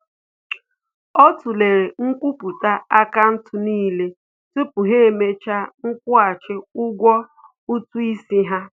Ọ tụlere nkwupụta akaụntụ n'ile tupu ha emecha nkwụghachi ụgwọ ụtụ isi ha